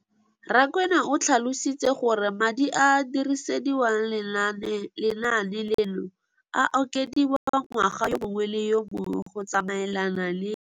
Rakwena o tlhalositse gore madi a a dirisediwang lenaane leno a okediwa ngwaga yo mongwe le yo mongwe go tsamaelana le